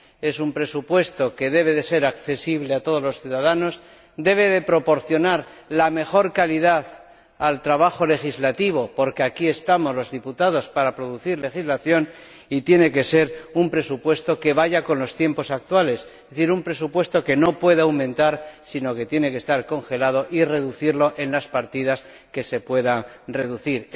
Es un presupuesto que debe ser accesible a todos los ciudadanos, debe proporcionar la mejor calidad al trabajo legislativo —porque aquí estamos los diputados para producir legislación— y tiene que ser un presupuesto que vaya con los tiempos actuales, es decir, un presupuesto que no pueda aumentar, sino que tiene que estar congelado y reducirse en las partidas que se pueda reducir.